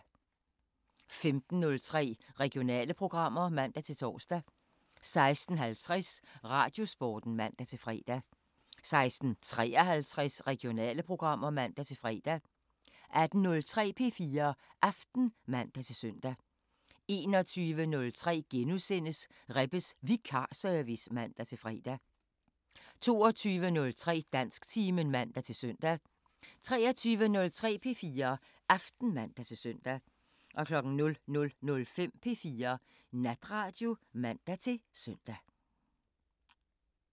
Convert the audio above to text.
15:03: Regionale programmer (man-tor) 16:50: Radiosporten (man-fre) 16:53: Regionale programmer (man-fre) 18:03: P4 Aften (man-søn) 21:03: Rebbes Vikarservice *(man-fre) 22:03: Dansktimen (man-søn) 23:03: P4 Aften (man-søn) 00:05: P4 Natradio (man-søn)